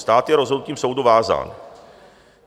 Stát je rozhodnutím soudu vázán.